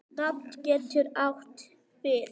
Ida getur átt við